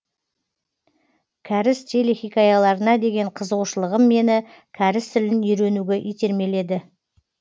кәріс телехикаяларына деген қызығушылығым мені кәріс тілін үйренуге итермеледі